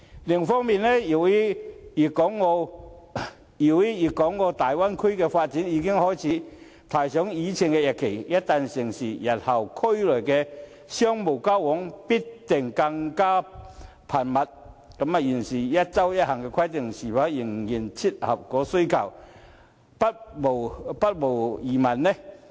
另一方面，由於粵港澳大灣區的發展已經開始提上議程，一旦成事，日後區內的商務交往必定更為頻密，現時"一周一行"的規定是否仍然切合需求，不無疑問。